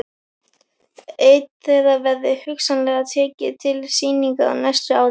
Einn þeirra verði hugsanlega tekinn til sýningar á næsta ári.